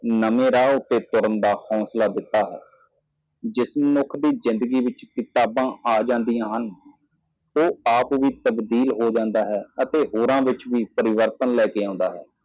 ਇੱਕ ਨਵਾਂ ਰਾਹ ਅਪਣਾਉਣ ਲਈ ਪ੍ਰੇਰਿਤ ਕੀਤਾ ਜਿਸ ਮਨੁੱਖ ਦੇ ਜੀਵਨ ਵਿੱਚ ਕਿਤਾਬਾਂ ਆਉਂਦੀਆਂ ਹਨ ਇਹ ਆਪਣੇ ਆਪ ਨੂੰ ਬਦਲਦਾ ਹੈ ਨਹੀਂ ਤਾਂ ਦੂਜਿਆਂ ਵਿੱਚ ਵੀ ਤਬਦੀਲੀ ਲਿਆਉਣੀ ਜ਼ਰੂਰੀ ਹੈ।